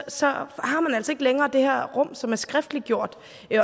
så har man altså ikke længere det her rum som er skriftliggjort